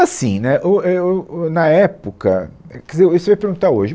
Assim, né, ou, é ou, o na época, é, quer dizer, você vai perguntar hoje.